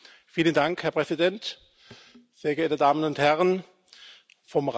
Herr Präsident, sehr geehrte Damen und Herren vom Rat!